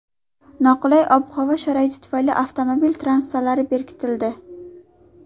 Noqulay ob-havo sharoiti tufayli avtomobil trassalari berkitildi.